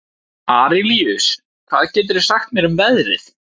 Arilíus, hvað geturðu sagt mér um veðrið?